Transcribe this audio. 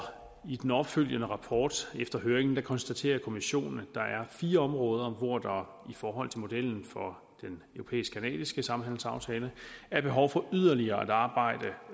i den opfølgende rapport efter høringen konstaterer kommissionen at der er fire områder hvor der i forhold til modellen for den europæisk canadiske samhandelsaftale er behov for yderligere at arbejde